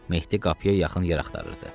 Mehdi qapıya yaxın yer axtarırdı.